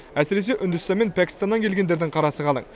әсіресе үндістан мен пәкістаннан келгендердің қарасы қалың